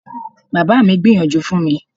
Bàbá mi gbìyànjú fún mi.